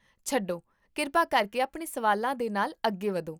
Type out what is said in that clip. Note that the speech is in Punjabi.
ਛੱਡੋ, ਕਿਰਪਾ ਕਰਕੇ ਆਪਣੇ ਸਵਾਲਾਂ ਦੇ ਨਾਲ ਅੱਗੇ ਵਧੋ